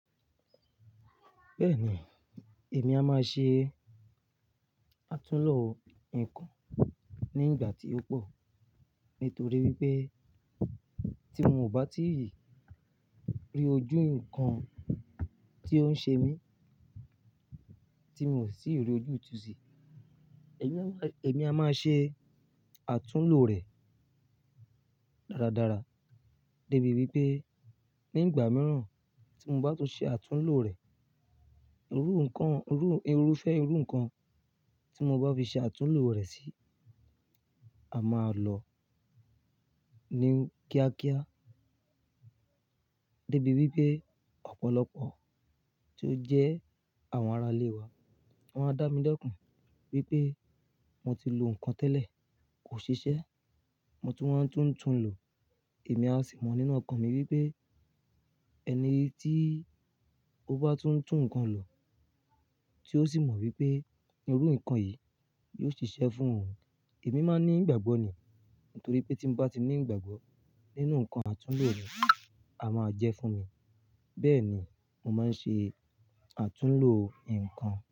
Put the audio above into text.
Bẹ́ẹ̀ni, èmi a máa ṣe àtúnlo ǹkan ní ìgbà tí ó pọ̀. Nítorí wípé tí mo ò bá tí rí ojú ǹkan tí ó ń ṣe mí, tí mò sì ti rí ojútú sí, èmi a máa ṣe àtúnlo rẹ̀ dáradára. Débi wípé ní ìgbà mìíràn tí mo bá tún ṣe àtúnlo rẹ̀, irú ǹkan, irú, irúfẹ́ irú ǹkan tí mo bá fi ṣe àtúnlo rẹ̀ sí, a máa lọ ní kíákíá. Debi wípé ọ̀pọ̀lọpọ̀ tí ó jẹ́ àwọn ará ilé wa, wọ́n á dá mí lẹkun wípé mo ti lo ǹkan tẹ́lẹ̀ kò ṣiṣẹ́, mo tún wá ń tún tún lo. Èmi á sì mọ nínú ọkàn mi wípé ẹni tí ó bá tún tún ǹkan lo tí ó sì mọ wípé irú ǹkan yìí yóò ṣiṣẹ́ fún òun, èmi máa ní ìgbàgbọ́ nì. Nítorí pé tí mo bá ti ní ìgbàgbọ́ nínú ǹkan àtúnlo mi, a máa jẹ́ fún mi. Bẹ́ẹ̀ ni mo máa ń ṣe àtúnlo ǹkan.